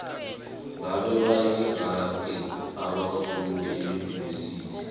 ngabe bayingaki abafundi eunivesithi